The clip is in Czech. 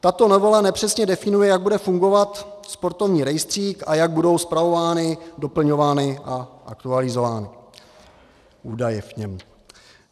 Tato novela nepřesně definuje, jak bude fungovat sportovní rejstřík a jak budou spravovány, doplňovány a aktualizovány údaje v něm.